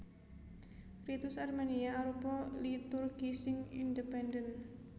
Ritus Armenia arupa liturgi sing independen